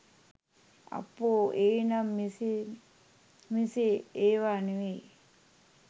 අපෝ ඒ නම් ‍එසේ‍ මෙසේ ඒවා නෙවෙයි